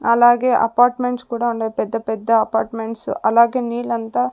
అలాగే అపార్ట్మెంట్స్ కూడా ఉండే పెద్ద పెద్ద అపార్ట్మెంట్స్ అలాగే నీలంతా.